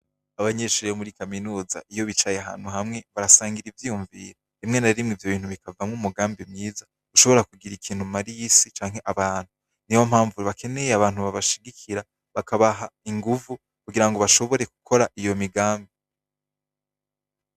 Abanyishurero muri kaminuza iyo bicaye hantu hamwe barasangira ivyiyumviye bimwe narimwe ivyo bintu bikavamwo umugambi myiza ushobora kugira ikintu mariyisi canke abantu ni ba mpamvure bakeneye abantu babashigikira bakabaha inguvu kugira ngo bashobore gukora iyo migambi.